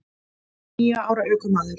Níu ára ökumaður